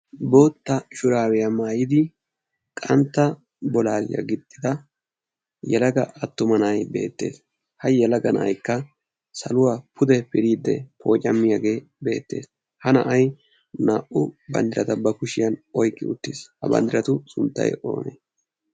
Bootta shuraabiya maayidi qantta bolaaliyaa gixxida yelaga attuma na'ay beettes ha yelaga na'aykka saluwaa pude piriiddi poocamiyaagee beettes ha na'ay naa'u banddirata ba kushiyaan oyqqi uttis ha banddiratu sunttay oonee?